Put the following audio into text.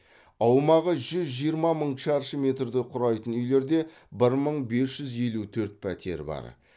аумағы жүз жиырма мың шаршы метрді құрайтын үйлерде бір мың бес жүз елу төрт пәтер бар